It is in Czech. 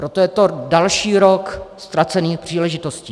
Proto je to další rok ztracených příležitostí.